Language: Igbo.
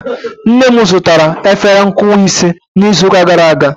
nna m zụtara efere nkụwa ise n'izu ụka gara aga